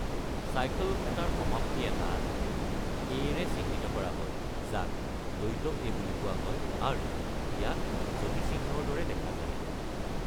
চাইকল্ এটাৰ সমাপ্তি এটা এ’-ৰে চিহ্নিত কৰা হয়, যাক দ্বৈত এ’ বুলি কোৱা হয়, আৰু ইয়াক যতিচিহ্নৰ দৰে দেখা যায়।